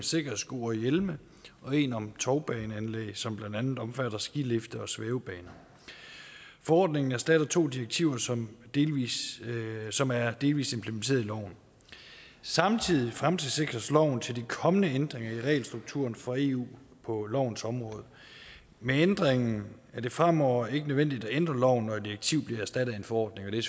sikkerhedssko og hjelme og en om tovbaneanlæg som blandt andet omfatter skilifter og svævebaner forordningerne erstatter to direktiver som som er delvis implementeret i loven samtidig fremtidssikres loven til de kommende ændringer i regelstrukturen fra eu på lovens område med ændringen er det fremover ikke nødvendigt at ændre loven når et direktiv bliver erstattet af en forordning og det